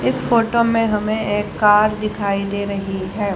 इस फोटो में हमें एक कार दिखाई दे रही है।